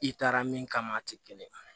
I taara min kama a tɛ kelen ye